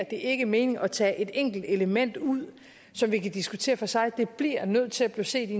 ikke mening at tage et enkelt element ud som vi kan diskutere for sig vi bliver nødt til at se det